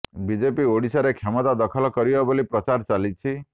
BJP ଓଡ଼ିଶାରେ କ୍ଷମତା ଦଖଲ କରିବ ବୋଲି ପ୍ରଚାର କରି ଚାଲିଛି